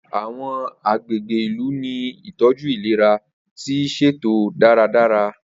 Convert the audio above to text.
Awọn agbegbe ilu ni itọju ilera ti iṣeto daradara.